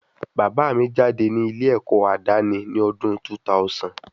Bàbá mi jáde ní ilé ẹ̀kọ́ àdáni ni ọdún 2000